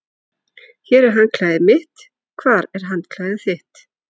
Hér er handklæðið mitt. Hvar er handklæðið þitt?